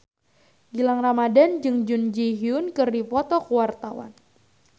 Gilang Ramadan jeung Jun Ji Hyun keur dipoto ku wartawan